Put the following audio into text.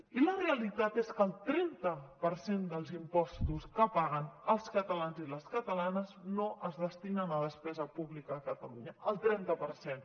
i la realitat és que el trenta per cent dels impostos que paguen els catalans i les catalanes no es destinen a despesa pública a catalunya el trenta per cent